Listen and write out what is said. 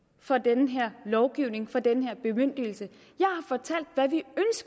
for den her lovgivning for den her bemyndigelse